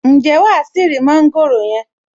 Ǹjẹ́ wàá ṣì rí mọ́ńgòrò yẹn?